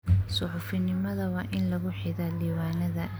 Suxufinimada waa in lagu xidhaa diiwaanada.